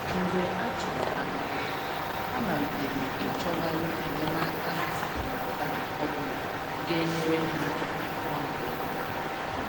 Mgbe a chụrụ ha n’ọrụ, ha malitere i chọghari enyemaka akụ́ na ụ̀ba ọbụna ga enyere ha áká nwa mgbe ntà.